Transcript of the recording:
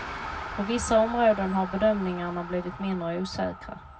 På vissa områden har bedömningarna blivit mindre osäkra.